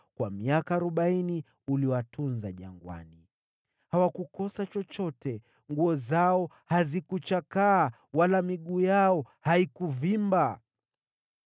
Kwa miaka arobaini uliwatunza jangwani. Hawakukosa chochote, na nguo zao hazikuchakaa wala miguu yao haikuvimba.